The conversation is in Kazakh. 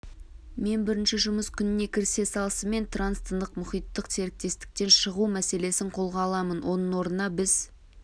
мен бірінші жұмыс күніне кірісе салысымен транс-тынық мұхиттық серіктестіктен шығу мәселесін қолға аламын оның орнына біз